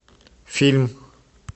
фильм